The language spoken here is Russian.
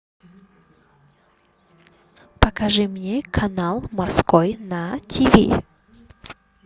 покажи мне канал морской на тв